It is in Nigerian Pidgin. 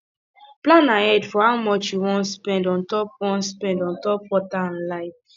plan ahead for how much you wan spend ontop wan spend ontop water and light